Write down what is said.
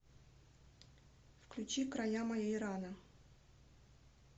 включи края моей раны